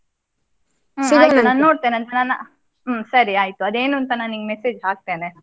ಆಯ್ತು ನೋಡ್ತೇನೆ ಅಂದ್ರೆ ನಾನ್. ಹ್ಮ್ ಸರಿ ಆಯ್ತು ಅದು ಏನು ಅಂತ ನಾ ನಿಂಗೆ message ಹಾಕ್ತೇನೆ ಆಯ್ತಾ.